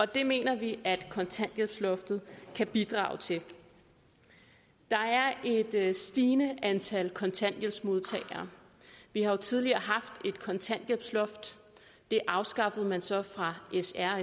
det mener vi at kontanthjælpsloftet kan bidrage til der er et stigende antal kontanthjælpsmodtagere vi har jo tidligere haft et kontanthjælpsloft det afskaffede man så fra s r